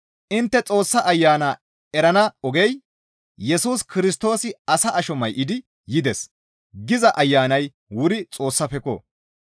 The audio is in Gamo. Intte Xoossa Ayana erana ogey, «Yesus Kirstoosi asa asho may7idi yides» giza Ayanay wuri Xoossafekko!